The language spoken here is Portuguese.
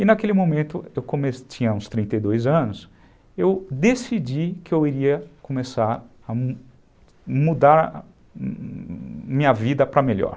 E naquele momento, eu tinha uns trinta e dois anos, eu decidi que eu iria começar a mudar minha vida para melhor.